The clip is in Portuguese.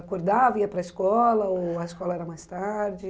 Acordava, ia para a escola, ou a escola era mais tarde?